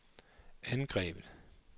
angrebet